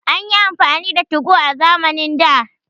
An yi amfani da 2go a zamanin da